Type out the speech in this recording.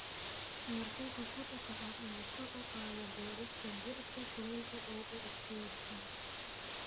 Heerkulka kor u kaca ayaa kor u qaada beerista dhirta kulaylka u adkaysata.